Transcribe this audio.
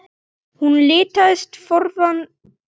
Hún litast forviða um.